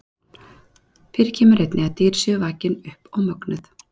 Fyrir kemur einnig að dýr séu vakin upp og mögnuð.